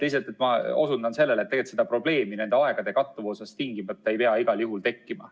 Lihtsalt ma osundan sellele, et tegelikult ei pea aegade kattuvusest seda probleemi tingimata tekkima.